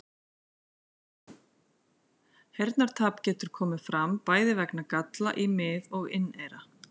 Heyrnartap getur komið fram bæði vegna galla í mið- og inneyra.